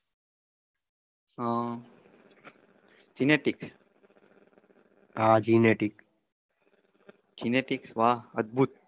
અમ genetics હાં genetics genetics વાહ અદભૂત